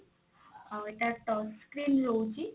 ଆଉ ଏଇଟା touch screen ରହୁଛି।